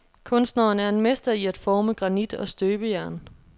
Kunstneren er en mester i at forme granit og støbejern.